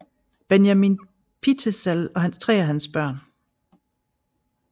Benjamin Pitezel og tre af hans børn